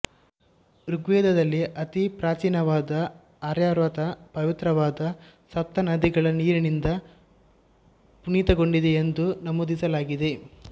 ಋಗ್ವೇದದಲ್ಲಿ ಅತಿಪ್ರಾಚೀನವಾದ ಆರ್ಯಾವರ್ತ ಪವಿತ್ರವಾದ ಸಪ್ತನದಿಗಳ ನೀರಿನಿಂದ ಪುನೀತಗೊಂಡಿದೆ ಎಂದು ನಮೂದಿಸಲಾಗಿದೆ